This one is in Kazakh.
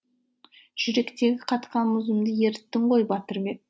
жүректегі қатқан мұзымды еріттің ғой батырбек